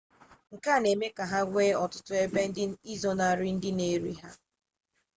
nke a na-eme ka ha nwee ọtụtụ ebe izonarị ndị na-eri ha